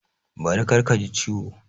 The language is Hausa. Bari kar ka ji ciwo!